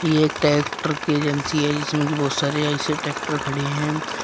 एक ट्रैक्टर की एजेंसी है जिसमें कि बहुत सारे आयशर ट्रैक्टर खड़े हैं।